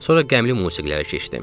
Sonra qəmli musiqilərə keçdim.